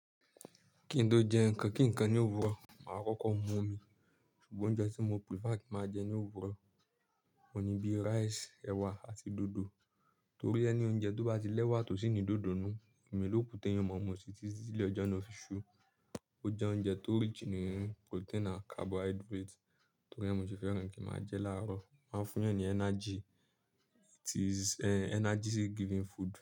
Ki n tó jẹ nkankan kí nkan ni òwúrọ̀, màá kọ́kọ́ mú omi. Sugbon oúnjẹ tí mo prefer ki máa jẹ ní òwúrọ̀, òun ni bí rice, ẹ̀wà àti dòdò. Torí ẹni oúnjẹ tó bá ti l'ẹ́wà tó sì ni dòdò nù, omọi lọ̀kù tí èèyàn máa mú sí ti tilẹ̀ ọjọ́ náà fi sú. Ó jẹ oúnjẹ tó rich ní protein ànd carbohydrate, torí ẹ ni mo se fẹ́ràn kí màá jẹ láàárọ̀. Ma ń fún èèyàn ní energy. It is a energy giving food.